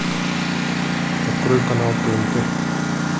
открой канал тнт